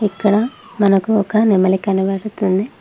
ఇక్కడ మనకు ఒక నెమలి కనపడుతుంది.